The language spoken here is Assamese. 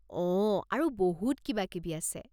অঁ, আৰু বহুত কিবাকিবি আছে।